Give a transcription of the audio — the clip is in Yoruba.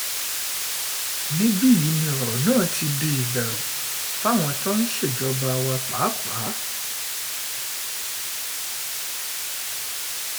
níbí yìí ni ọ̀rọ̀ náà ti di ìbẹ̀rù fáwọn tí wọ́n ń ṣèjọba wa pàápàá